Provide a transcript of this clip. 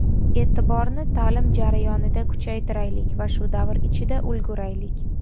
E’tiborni ta’lim jarayonida kuchaytiraylik va shu davr ichida ulguraylik.